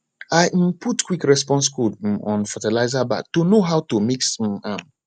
i um put quick response code um on fertiliser bag to know how to mix um am